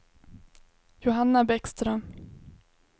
Johanna Bäckström